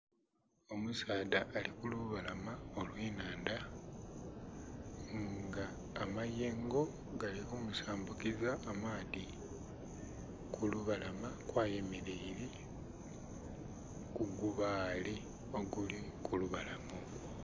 Omusaadha ali ku lubalama olw'ennhandha nga amayengo gali kumusambukiza amaadhi, ku lubalama kwayemeleile ku gubaale oguli ku lubalama okwo.